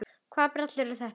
Hvaða brellur eru þetta?